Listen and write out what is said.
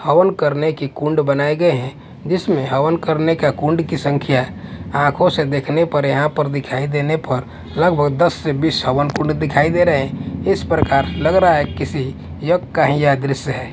हवन करने की कुंड बनाए गए हैं जिसमें हवन करने का कुंड की संख्या आँखों से देखने पर यहाँ पर दिखाई देने पर लगभग दस से बीस हवन कुंड दिखाई दे रहे हैं इस प्रकार लग रहा है किसी योग का ही यह दृश्य है।